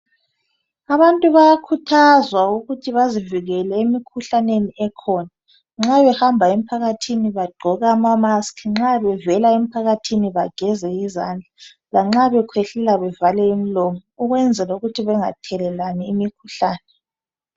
Abantu bayakhuthazwa ukuthi bazivikele emikhuhlaneni ekhona nxa behamba emphakathini bagqoke izayeke bageze lezandla njalo bakhwehlele bevale imilomo.